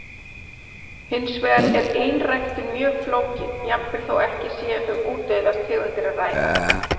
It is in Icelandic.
Hins vegar er einræktun mjög flókin, jafnvel þó ekki sé um útdauðar tegundir að ræða.